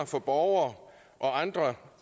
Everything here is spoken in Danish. for borgere og andre